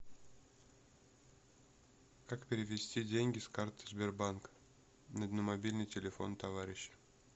как перевести деньги с карты сбербанка на мобильный телефон товарища